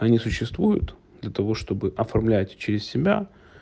они существуют для того чтобы оформлять через себя